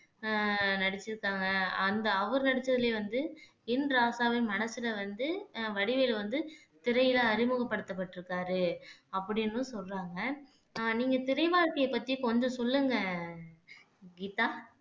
அஹ் நடிச்சிருக்காங்க அந்த அவர் நடிச்சதிலேயே வந்து என் ராசாவின் மனசுல வந்து அஹ் வடிவேலு வந்து திரையில அறிமுகப்படுத்தப்பட்டிருக்காரு அப்படின்னும் சொல்றாங்க அஹ் நீங்க திரை வாழ்க்கையைப் பத்தி கொஞ்சம் சொல்லுங்க கீதா